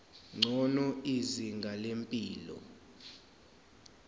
ngcono izinga lempilo